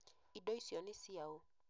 Indo icio nĩ ciaũ?